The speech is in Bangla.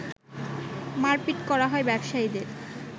মারপিট করা হয় ব্যবসায়ীদের